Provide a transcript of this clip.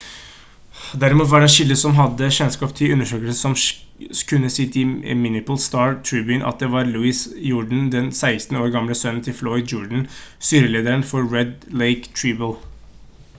derimot var det en kilde som hadde kjennskap til undersøkelsen som kunne si til minneapolis star-tribune at det var louis jourdain den 16 år gamle sønnen til floyd jourdain styrelederen for red lake tribal